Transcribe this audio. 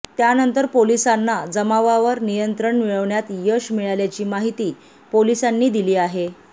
त्यानंतर पोलिसांना जमावावर नियंत्रण मिळवण्यात यश मिळाल्याची माहिती पोलिसांनी दिली आहे